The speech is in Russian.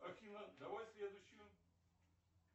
афина давай следующую